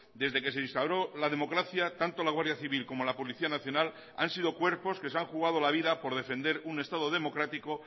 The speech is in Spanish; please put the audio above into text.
desde que se instauró la democracia tanto la guardia civil como la policía nacional han sido cuerpos que se han jugado la vida por defender un estado democrático